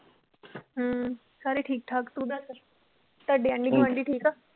ਹਮ ਸਾਰੇ ਠੀਕ ਠਾਕ ਤੂੰ ਦੱਸ, ਤੁਹਾਡੇ ਆਂਢੀ-ਗੁਆਂਢੀ ਠੀਕ ਆ?